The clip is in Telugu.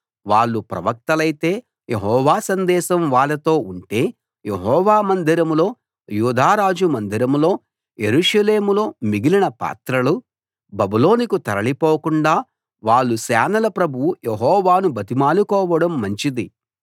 వాళ్ళు ప్రవక్తలైతే యెహోవా సందేశం వాళ్ళతో ఉంటే యెహోవా మందిరంలో యూదా రాజు మందిరంలో యెరూషలేములో మిగిలిన పాత్రలు బబులోనుకు తరలి పోకుండా వాళ్ళు సేనల ప్రభువు యెహోవాను బతిమాలుకోవడం మంచిది